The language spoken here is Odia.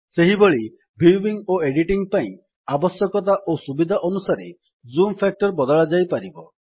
ସେହିଭଳି ଭ୍ୟୁଇଙ୍ଗ୍ ଓ ଏଡିଟିଙ୍ଗ୍ ପାଇଁ ଆବଶ୍ୟକତା ଓ ସୁବିଧା ଅନୁସାରେ ଜୁମ୍ ଫ୍ୟାକ୍ଟର୍ ବଦଳା ଯାଇପାରିବ